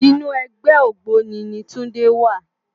Inú ègbè ôgbóni ni Tunde wá